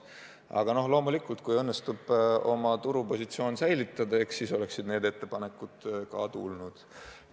Aga loomulikult, kui õnnestunuks oma turupositsioon säilitada, eks siis oleksid need ettepanekud ka tulnud.